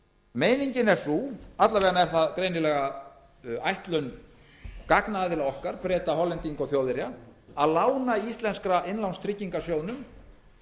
meiningin er sú alla vega er það greinilega ætlun gagnaðila okkar breta hollendinga og þjóðverja að lána íslenska innlánstryggingarsjóðnum